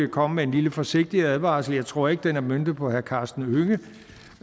komme med en lille forsigtig advarsel jeg tror ikke den er møntet på herre karsten